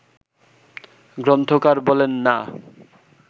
গ্রন্থকার বলেন না